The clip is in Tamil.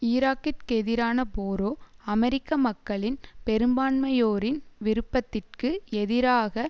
ஈராக்கிற்கெதிரான போரோ அமெரிக்க மக்களின் பெரும்பான்மையோரின் விருப்பத்திற்கு எதிராக